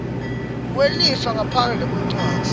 kwelifa ngaphandle kwencwadzi